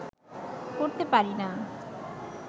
করতে পারি না